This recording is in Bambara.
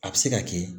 A bɛ se ka kɛ